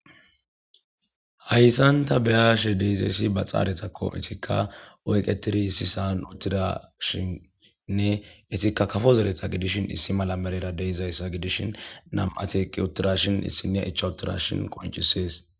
Hayssanta beyashe deizessi ba xaaretakko etikka oyqetidi issisan uttida shinnne etikka kafo zereta gidishin issi mala merera deizayssa gidishin nam'ateqqi uttira shin issiniya icha uttira shin qoncisees.